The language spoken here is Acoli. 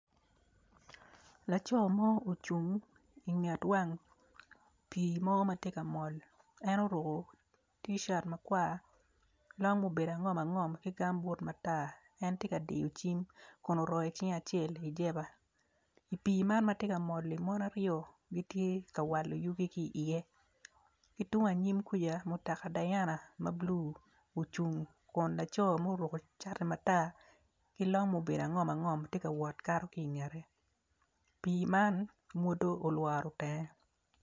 Laco mo ocung inget wang pii mo matye ka mol en oruko ticat makwar long ma obedo angom angom ki gambut matar en tye ka diyo cim kun oroyo cinge i jeba i pii man matye kamol-li mon aryo gitye ka wako yugi ki iye ki tung anyim kwica mutoka dayana ma blu ocung kun laco ma oruko cati matar ki long m obedo angom angom tye ka wot kato ki ngete pii man mwodo olworo tenge.